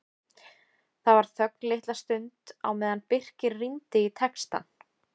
Það var þögn litla stund á meðan Birkir rýndi í textann.